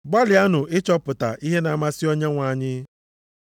Gbalịanụ ịchọpụta ihe na-amasị Onyenwe anyị.